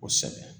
Kosɛbɛ